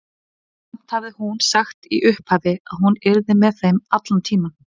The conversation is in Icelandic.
Samt hafði hún sagt í upphafi að hún yrði með þeim allan tímann.